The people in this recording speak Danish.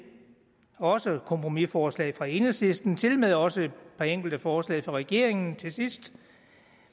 også kompromisforslag fra enhedslisten tilmed også et par enkelte forslag fra regeringen til sidst